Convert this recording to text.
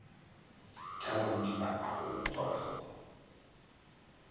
thalabodiba a go utswa pholo